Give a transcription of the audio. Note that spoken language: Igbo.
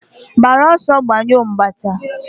gbara ọsọ, gbanyụọ mgbata!.